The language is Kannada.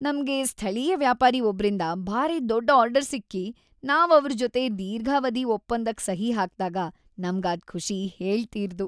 ನಮ್ಗೆ ಸ್ಥಳೀಯ ವ್ಯಾಪಾರಿ ಒಬ್ರಿಂದ ಭಾರಿ ದೊಡ್ ಆರ್ಡರ್ ಸಿಕ್ಕಿ, ನಾವ್‌ ಅವ್ರ್‌ ಜೊತೆ ದೀರ್ಘಾವಧಿ ಒಪ್ಪಂದಕ್‌ ಸಹಿ ಹಾಕ್ದಾಗ್‌ ನಮ್ಗಾದ್ ಖುಷಿ ಹೇಳ್‌ತೀರ್ದು.